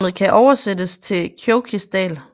Navnet kan oversættes til Kjóvgis dal